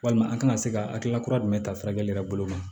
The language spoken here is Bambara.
Walima an kana se ka hakilina kura jumɛn ta furakɛli kɛ bolo ma